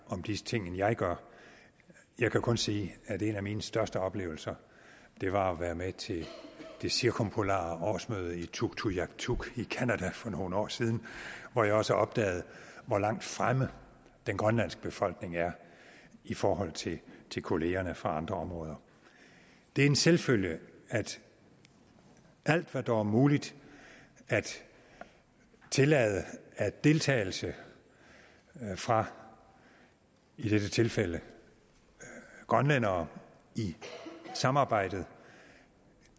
om disse ting end jeg gør jeg kan kun sige at en af mine største oplevelser var at være med til det cirkumpolare årsmøde i tuktoyaktuk i canada for nogle år siden hvor jeg også opdagede hvor langt fremme den grønlandske befolkning er i forhold til til kollegerne fra andre områder det er en selvfølge at alt hvad der er muligt at tillade af deltagelse fra i dette tilfælde grønlændere i samarbejdet